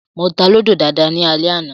Mo ta Lúdò dáadáa ní alẹ́ àná